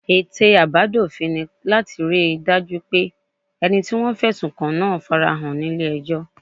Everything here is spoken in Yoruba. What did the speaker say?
Ète àbádòfin ni láti rí i dájú pé ẹni tí wọ́n fẹ̀sùn kàn náà fara hàn ní ilé ẹjọ́